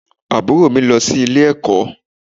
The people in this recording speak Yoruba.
Àbúrò mi lọ sí ilé-ẹ̀kọ́